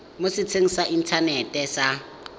mo setsheng sa inthanete sa